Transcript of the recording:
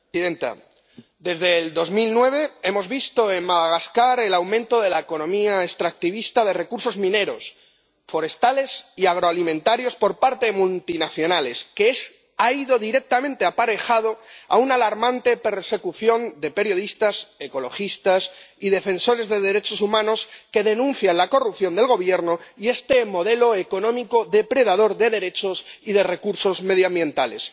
Señora presidenta, desde 2009 hemos visto en Madagascar un aumento de la economía extractivista de recursos mineros, forestales y agroalimentarios por parte de las multinacionales que ha ido directamente aparejado de una alarmante persecución de periodistas, ecologistas y defensores de los derechos humanos, que denuncian la corrupción del Gobierno y este modelo económico depredador de derechos y de recursos medioambientales.